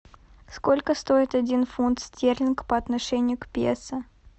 сколько стоит один фунт стерлинг по отношению к песо